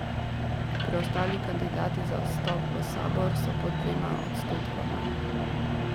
Preostali kandidati za vstop v sabor so pod dvema odstotkoma.